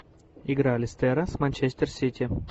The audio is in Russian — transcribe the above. игра лестера с манчестер сити